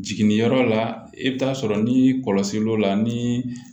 Jiginniyɔrɔ la i bɛ taa sɔrɔ ni kɔlɔsilw la ni